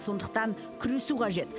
сондықтан күресу қажет